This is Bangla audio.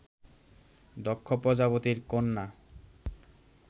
দক্ষ প্রজাপতির কন্যা